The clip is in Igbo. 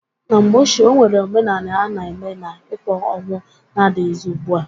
Na mgbe ochie, onwere omenanị a na-eme na-ịkwa ọnwụ na-adịghịzị ugbua.